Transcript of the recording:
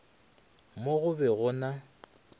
mo go be go na